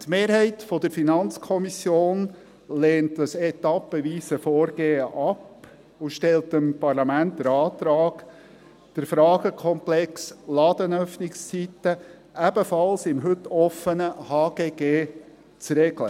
Die Mehrheit der FiKo lehnt dieses etappenweise Vorgehen ab und stellt dem Parlament den Antrag, den Fragenkomplex Ladenöffnungszeiten ebenfalls im heute offenen HGG zu regeln.